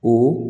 O